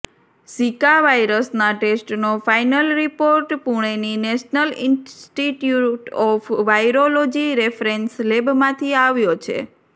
Zika વાયરસના ટેસ્ટનો final report પૂણેની national institute of virology reference લેબમાંથી આવ્યો છે